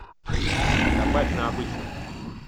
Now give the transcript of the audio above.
добавь на обычном